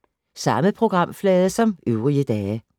Samme programflade som øvrige dage